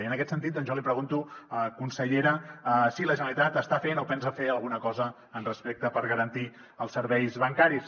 i en aquest sentit jo li pregunto consellera si la generalitat està fent o pensa fer alguna cosa per garantir els serveis bancaris